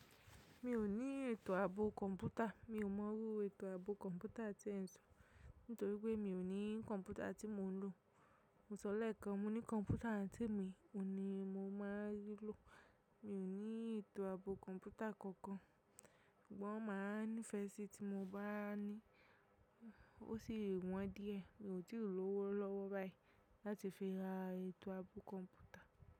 Mi ò ní ètò ààbò kọ̀ǹpútà. Mi ò mọrú ètò ààbò kọ̀ǹpútà tí ẹ̀ ń sọ, nítorí pé mi ò ní kọ̀ǹpútà tí mò ń lò. Mo sọlẹ̀ kan, mo ní kọ̀ǹpútà tí èmi ò ní mo máa rí lò. Mi ò ní ètò ààbò kọ̀ǹpútà kankan. Sugbon máa nífẹ́ síi tí mo bá ní i, ó sì wọ́n díẹ̀. Mi ò tí ì lòwó lọ́wọ́ báyìí láti fi ra ètò ààbò kọ̀ǹpútà.